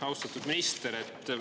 Austatud minister!